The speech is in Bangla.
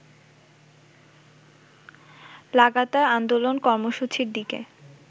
লাগাতার আন্দোলন কর্মসূচির দিকে